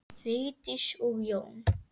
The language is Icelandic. Vigdís og Jón.